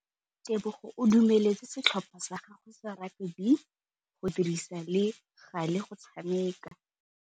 Tebogô o dumeletse setlhopha sa gagwe sa rakabi go dirisa le galê go tshameka.